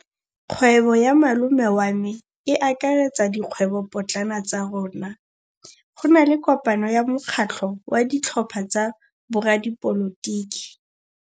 Kgwêbô ya malome wa me e akaretsa dikgwêbôpotlana tsa rona. Go na le kopanô ya mokgatlhô wa ditlhopha tsa boradipolotiki.